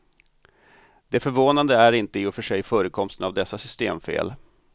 Det förvånande är inte i och för sig förekomsten av dessa systemfel.